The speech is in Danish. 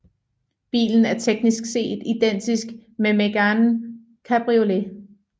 Bilen er teknisk set identisk med Mégane cabriolet